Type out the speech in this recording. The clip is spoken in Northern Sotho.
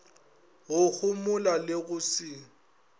go homola le go se